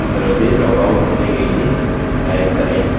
इस यूज़र से log out होने के लिए type करें